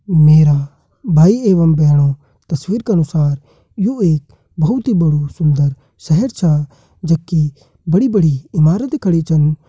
मेरा भई एवं बहणों तस्वीर का अनुसार यू एक बहुत ही बदु सुन्दर सेहर छा जबकी बड़ी-बड़ी ईमारत कड़ी छन।